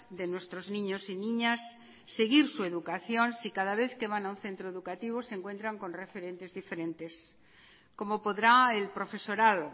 de nuestros niños y niñas seguir su educación si cada vez que van a un centro educativo se encuentran con referentes diferentes cómo podrá el profesorado